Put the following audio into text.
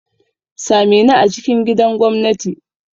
Same ni a cikin gidan gwamnati!